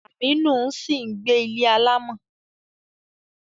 Aminu ń sì gbé ilé alámọ̀.